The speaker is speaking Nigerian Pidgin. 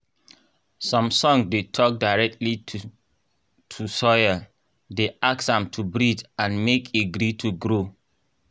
some song dey talk directly to to soil dey ask am to breathe and make e gree to grow